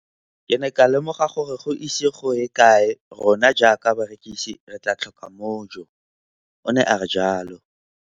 Ke ne ka lemoga gore go ise go ye kae rona jaaka barekise re tla tlhoka mojo, o ne a re jalo.